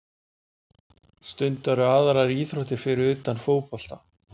Stundarðu aðrar íþróttir fyrir utan fótbolta?